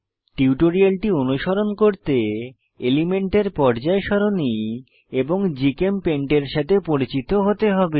টিউটোরিয়ালটি অনুসরণ করতে এলিমেন্টের পর্যায় সারণি এবং জিচেমপেইন্ট এর সাথে পরিচিত হতে হবে